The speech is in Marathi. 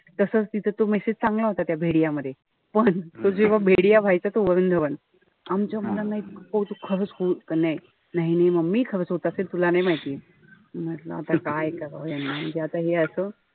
तसच तिथं तो message चांगला होता त्या मध्ये. पण तो जेव्हा व्हायचा तो वरून धवन. आमच्या मुलांना इतकं कौतुक खरंच होत का. नाही नाही mummy होत असेल तुला नाई माहित. म्हंटल आता काय करावं याना. म्हणजे आता हे असं.